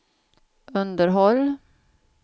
underhåll